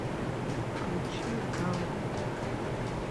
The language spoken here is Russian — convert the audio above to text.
включи галат